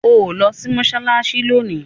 o nlò sí Mossalassi lóni!